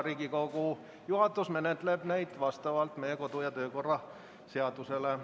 Riigikogu juhatus menetleb neid vastavalt meie kodu- ja töökorra seadusele.